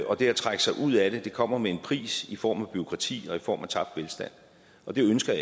og det at trække sig ud af det kommer med en pris i form af bureaukrati og i form af tabt velstand og det ønsker